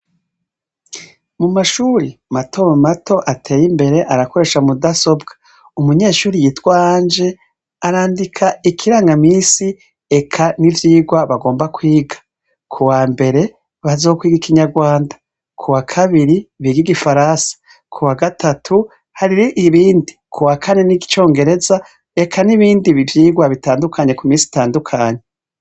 Mumashuri mato mato ateyimbere barakoresha mudasobwa, umunyeshure yitwa Ange, arandika ikiranga misi eka n’ivyigwa bagomba kwiga. kuwambere, bazokwiga ikinyarwanda, kuwa kabiri big’igifaransa, kuwa gatatu hariho ibindi, kuwa Kane n’icobgereza eka n’ibindi vyigwa bitandukanye kumisi itandukanye.